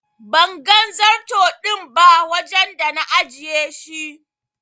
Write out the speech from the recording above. Ban gan zarto din ba wajen da na ajiye shi.